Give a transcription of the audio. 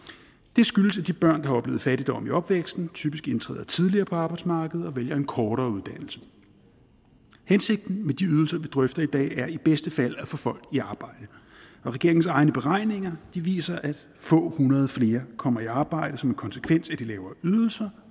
det skyldes at de børn der har oplevet fattigdom i opvæksten typisk indtræder tidligere på arbejdsmarkedet og vælger en kortere uddannelse hensigten med de ydelser vi drøfter i dag er i bedste fald at få folk i arbejde og regeringens egne beregninger viser at få hundrede flere kommer i arbejde som en konsekvens af de lavere ydelser